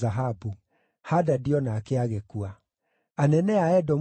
Hadadi o nake agĩkua. Anene a Edomu maarĩ: